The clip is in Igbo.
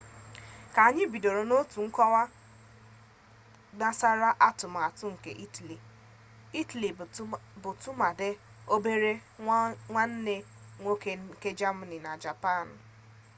ka anyị bido n'otu nkọwa gnasara atụmatụ nke itali itali bụ tụmadị obere nwanne nwoke nke jamani na japanụ